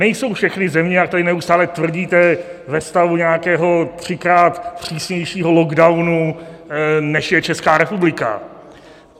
Nejsou všechny země, jak tady neustále tvrdíte, ve stavu nějakého třikrát přísnějšího lockdownu, než je Česká republika.